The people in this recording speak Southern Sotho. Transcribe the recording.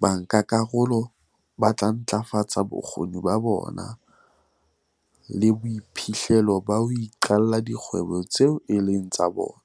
Bankakarolo ba tla ntlafatsa bokgoni ba bona le boiphihlelo ba ho iqalla dikgwebo tseo e leng tsa bona,